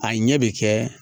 A ɲɛ bɛ kɛ